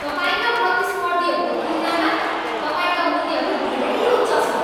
तपाईँका प्रतिस्पर्धीहरूको तुलनामा तपाईँका मूल्यहरू धेरै उच्च छन्।